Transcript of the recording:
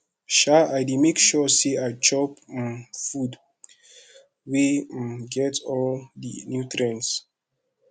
um i dey make sure sey i chop um food wey um get all di nutrients